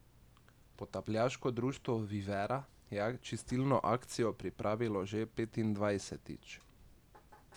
Potapljaško društvo Vivera je čistilno akcijo pripravilo že petindvajsetič.